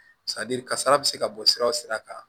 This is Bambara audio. kasara bɛ se ka bɔ sira o sira kan